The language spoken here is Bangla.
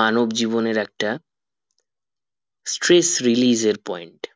মানব জীবনের একটা stress release এর point